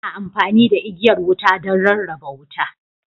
Ana amfani da igiyar wuta don rarraba wuta.